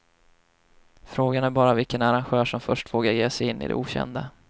Frågan är bara vilken arrangör som först vågar ge sig in i det okända.